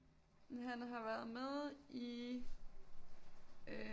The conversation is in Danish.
Han har været med i øh